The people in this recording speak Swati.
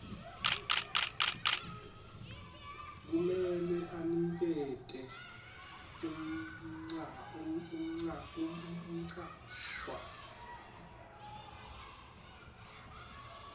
kumele anikete umcashwa